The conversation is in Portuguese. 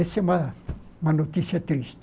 Essa é uma uma notícia triste.